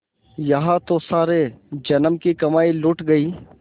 यहाँ तो सारे जन्म की कमाई लुट गयी